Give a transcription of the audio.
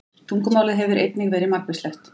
Tungumálið hefur einnig verið margvíslegt.